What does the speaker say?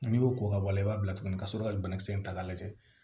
N'i y'o ko ka bɔ a la i b'a bila tuguni ka sɔrɔ ka banakisɛ in ta k'a lajɛ